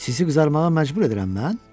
Sizi qızarmağa məcbur edirəm mən?